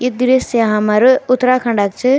यी दृश्य हमर उत्तराखण्डे च।